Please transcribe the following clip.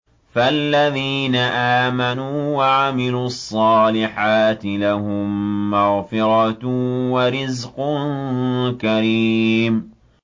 فَالَّذِينَ آمَنُوا وَعَمِلُوا الصَّالِحَاتِ لَهُم مَّغْفِرَةٌ وَرِزْقٌ كَرِيمٌ